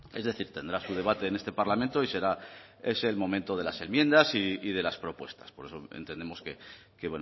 es decir tendrá su debate en este parlamento y será ese el momento de las enmiendas y de las propuestas por eso entendemos que